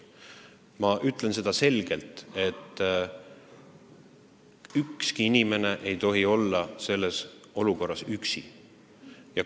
Ma ütlen selgelt, et ükski inimene ei tohi olla selles olukorras üksi.